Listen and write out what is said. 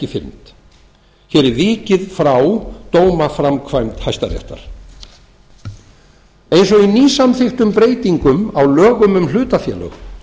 fyrnd hér er vikið frá dómaframkvæmd hæstaréttar eins og í nýsamþykktum breytingum á lögum um hlutafélög